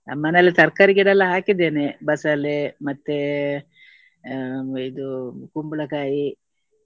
ನಮ್ಮ ಮನೆಯಲ್ಲಿ ತರ್ಕಾರಿ ಗಿಡ ಎಲ್ಲಾ ಹಾಕಿದ್ದೇನೆ. ಬಸಳೆ ಮತ್ತೆ ಹ್ಮ್ ಇದು ಕುಂಬಳಕಾಯಿ.